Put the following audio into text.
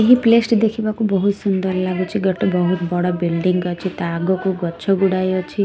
ଏହି ପ୍ଲେସ ଟି ଦେଖିବାକୁ ବହୁତ ସୁନ୍ଦର ଲାଗୁଚି ଗୋଟେ ବହୁତ ବଡ଼ ବିଲ୍ଡିଙ୍ଗ ଅଛି ତା ଆଗକୁ ଗଛ ଗୁଡ଼ାଏ ଅଛି।